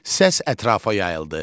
Səs ətrafa yayıldı.